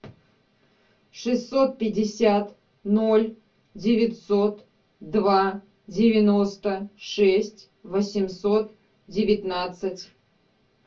шестьсот пятьдесят ноль девятьсот два девяносто шесть восемьсот девятнадцать